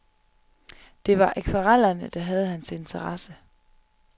Det var akvarellerne, der havde hans interesse.